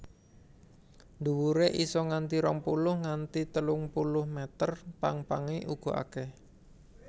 Dhuwure isa nganti rong puluh nganti telung puluh meter pang pange uga akèh